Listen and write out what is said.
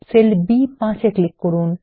sell B5 এ click করুন